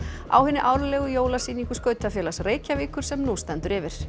á hinni árlegri jólasýningu skautafélags Reykjavíkur sem nú stendur yfir